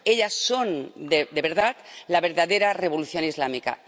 Ellas son, de verdad, la verdadera revolución islámica.